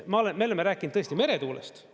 Me oleme rääkinud tõesti meretuulest.